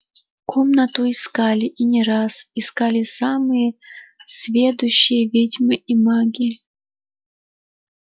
комнату искали и не раз искали самые сведущие ведьмы и маги